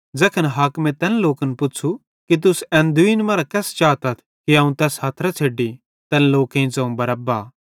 ज़ैखन हाकिमे तैन लोकन पुच़्छ़ू कि तुस एन दुईन मरां केस चातथ अवं तैस हथरां छ़ेड्डी तैन लोकेईं ज़ोवं बरअब्बा